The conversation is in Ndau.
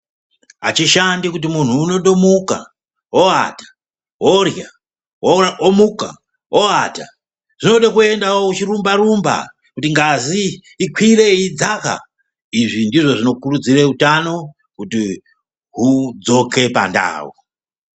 Azvi shandi kuti muntu unondo muka wo ata worya womuka wo ata zvode ku endawo uchi rumba rumba kuti ngazi ikwire yei dzaka izvi ndizvo zvino kurudzire utano kuti hudzoke pa ndau.